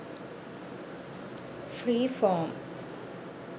free form